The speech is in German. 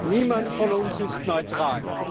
Niemand von uns ist neutral.